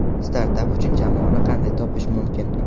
Startap uchun jamoani qanday topish mumkin?.